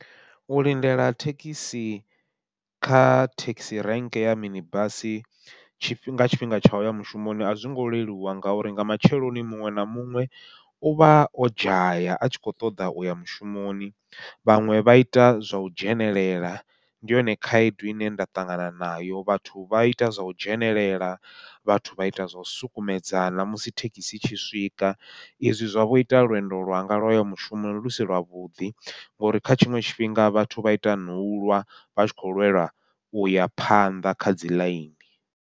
U lindela thekhisi kha thekhisi rank ya mini basi, nga tshifhinga tsha uya mushumoni a zwo ngo leluwa ngauri nga matsheloni muṅwe na muṅwe u vha o dzhaya a tshi kho ṱoḓa uya mushumoni, vhaṅwe vha ita zwa u dzhenelela. Ndi yone khaedu ine nda ṱangana nayo, vhathu vha ita zwau dzhenelela vhathu vha ita zwau sukumedzana musi thekhisi i tshi swika izwi zwa vho ita lwendo lwanga lwoya mushumo lu si lwavhuḓi, ngauri kha tshiṅwe tshifhinga vhathu vha ita nau lwa vha tshi khou lwelwa uya phanḓa kha dzi ḽaini.